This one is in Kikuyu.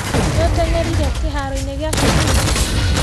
Nĩũtengerire kĩharoinĩ gia cukuru?